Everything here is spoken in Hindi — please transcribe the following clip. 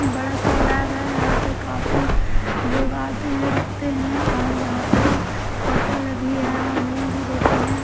बड़ा सा लैब है यहां पे काफी लोग आते हैं रुकते हैं और यहां पे होटल भी है और रूम भी देते हैं।